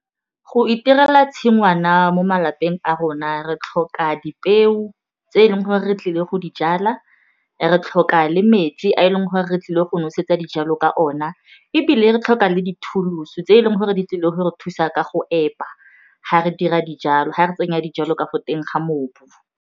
Go itirela tshingwana mo malapeng a rona re tlhoka dipeo tse e leng gore re tlile go di jala re tlhoka le metsi a e leng gore re tlile go nosetsa dijalo ka ona ebile re tlhoka le tse e leng gore di tlile go re thusa ka go epa ga re dira dijalo ga re tsenya dijalo ka go teng ga mobu.